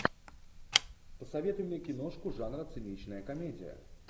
посоветуй мне киношку жанра циничная комедия